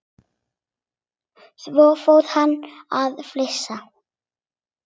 Svo fór hann að flissa.